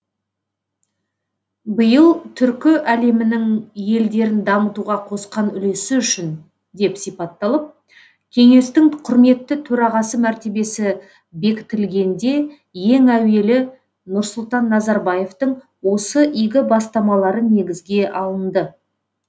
биыл түркі әлемінің елдерін дамытуға қосқан үлесі үшін деп сипатталып кеңестің құрметті төрағасы мәртебесі бекітілгенде ең әуелі нұрсұлтан назарбаевтың осы игі бастамалары негізге алынды